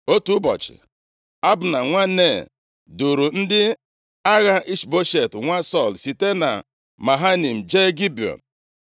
Otu ụbọchị, Abna nwa Nea, duuru ndị agha Ishboshet nwa Sọl site na Mahanaim jee Gibiọn.